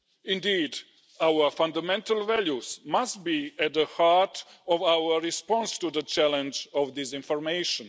Indeed, our fundamental values must be at the heart of our response to the challenge of disinformation.